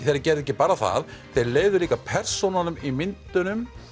þeir gerðu ekki bara það þeir leyfðu líka persónunum í myndunum